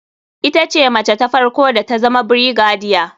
Ita ce mace ta farko da tazama brigadier.